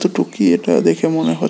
টুকি এটা দেখে মনে হ--